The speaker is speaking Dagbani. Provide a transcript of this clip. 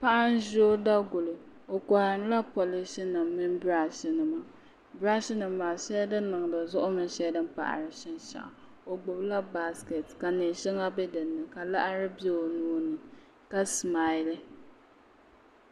Paɣa n ʒi o daguli o koharila polish nim mini birashi nima birash nim maa shɛli din niŋdi zuɣu mini shɛli din paɣari shinshaɣu o gbubila baskɛt ka neen shɛŋa bɛ dinni ka laɣari bɛ o nuuni ka simali